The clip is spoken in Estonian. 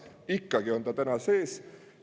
Ikkagi on see täna sees.